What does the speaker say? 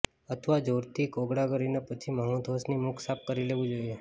અથવા જોરથી કોગળા કરીને પછી માઉથવોશની મુખ સાફ કરી લેવું જોઈએ